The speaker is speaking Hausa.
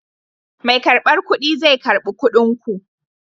Mai karbar kuɗi zai karɓi kuɗin ku.